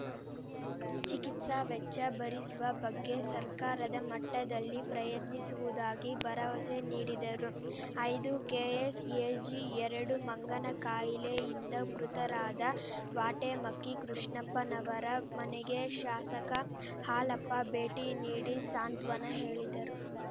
ಚಿಕಿತ್ಸಾ ವೆಚ್ಚ ಭರಿಸುವ ಬಗ್ಗೆ ಸರ್ಕಾರದ ಮಟ್ಟದಲ್ಲಿ ಪ್ರಯತ್ನಿಸುವುದಾಗಿ ಭರವಸೆ ನೀಡಿದರು ಐದು ಕೆಎಸ್‌ಎಜಿ ಎರಡು ಮಂಗನಕಾಯಿಲೆಯಿಂದ ಮೃತರಾದ ವಾಟೆಮಕ್ಕಿ ಕೃಷ್ಣಪ್ಪನವರ ಮನೆಗೆ ಶಾಸಕ ಹಾಲಪ್ಪ ಭೇಟಿ ನೀಡಿ ಸಾಂತ್ವನ ಹೇಳಿದರು